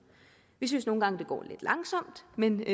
vi synes nogle gange det går lidt langsomt men